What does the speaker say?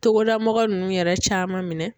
Togoda mɔgɔw ninnu yɛrɛ caman minɛ.